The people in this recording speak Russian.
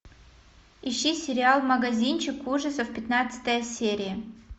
ищи сериал магазинчик ужасов пятнадцатая серия